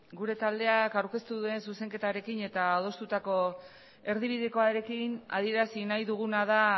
gure taldeak aurkeztu duen zuzenketarekin eta adostutako erdibidekoarekin adierazi nahi duguna da